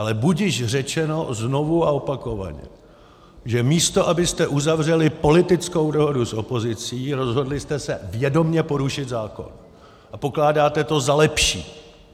Ale budiž řečeno znovu a opakovaně, že místo abyste uzavřeli politickou dohodu s opozicí, rozhodli jste se vědomě porušit zákon a pokládáte to za lepší.